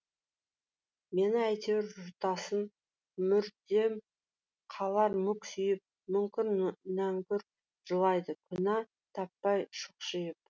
мені әйтеуір жұтасың мүрдем қалар мүк сүйіп мүңкір нәңкүр жылайды күнә таппай шұқшиып